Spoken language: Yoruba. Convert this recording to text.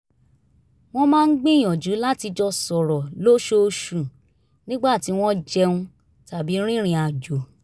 wọ́n máa ń gbìyànjú láti jọ sọ̀rọ̀ lóṣooṣù nígbà tí wọ́n jẹun tàbí rìnrìn àjò